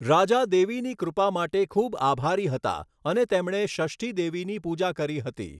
રાજા દેવીની કૃપા માટે ખૂબ આભારી હતા અને તેમણે ષષ્ઠી દેવીની પૂજા કરી હતી.